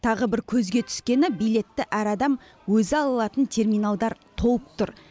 тағы бір көзге түскені билетті әр адам өзі ала алатын терминалдар толып тұр